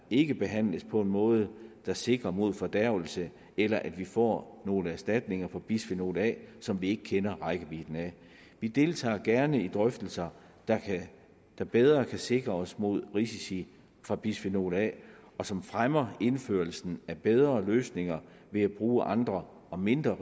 ikke behandles på en måde der sikrer mod fordærves eller at vi får nogle erstatninger af bisfenol a som vi ikke kender rækkevidden af vi deltager gerne i drøftelser der bedre kan sikre mod risici fra bisfenol a og som fremmer indførelsen af bedre løsninger ved at bruge andre og mindre